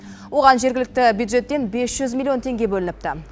оған жергілікті бюджеттен бес жүз миллион теңге бөлініпті